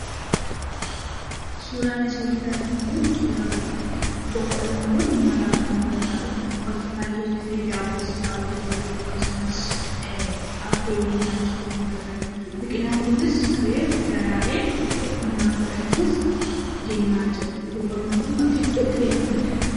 Suuraan asii olitti argamu kun suuraa boqqoollooti, boqqoolloon kun nyaataaf kan nu gargaarudha. Bakka baayyeettillee daaboosaa irraa hojjatachuuf akkasumas affeellee nyaachuuf kan nu gargaarudha Biqilaan kunis reefu daraaree midhaan godhachuuf deemaa jira boqqoolloon kun bakka hedduutti beekkamaadha.